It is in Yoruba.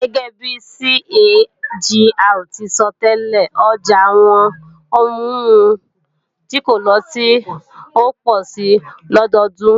Gẹ́gẹ́bi CAGR ti sọtẹ́lẹ̀, ọjà àwọn ohun mímu tí kò lọ́tí ó pọ̀ si lọdọdún